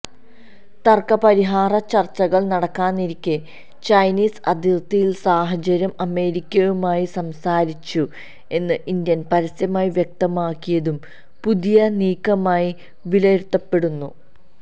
തർക്കപരിഹാര ചർച്ചകൾ നടക്കാനിരിക്കെ ചൈനീസ് അതിർത്തിയിലെ സാഹചര്യം അമേരിക്കയുമായി സംസാരിച്ചു എന്ന് ഇന്ത്യ പരസ്യമായി വ്യക്തമാക്കിയതും പുതിയ നീക്കമായി വിലയിരുത്തപ്പെടുന്നു